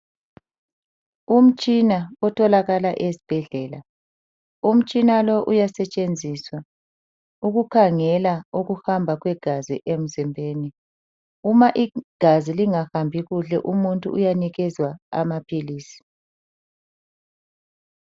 Umtshina otholakala ezibhedlela umtshina lo uyasetshenziswa ukukhangela ukuhamba kwegazi emzimbeni. Uma igazi lingahambi kuhle umuntu uyanikezwa amaphilisi.